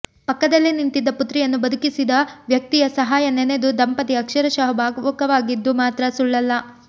ಪಕ್ಕದಲ್ಲೇ ನಿಂತಿದ್ದ ಪುತ್ರಿಯನ್ನು ಬದುಕಿಸಿದ ವ್ಯಕ್ತಿಯ ಸಹಾಯ ನೆನೆದು ದಂಪತಿ ಅಕ್ಷರಶಃ ಭಾವುಕವಾಗಿದ್ದು ಮಾತ್ರ ಸುಳ್ಳಲ್ಲ